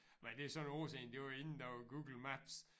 Men det er så nogle år siden det var inden der var Google Maps